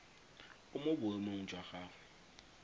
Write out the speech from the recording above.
o mo boemong jwa gagwe